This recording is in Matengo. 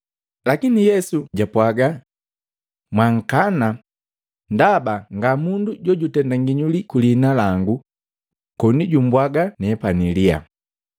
Lakini Yesu jaapwaga, “Mwaankana, ndaba ngamundu jojutenda nginyuli kwi liina langu koni jumbwaga nepani liyaa.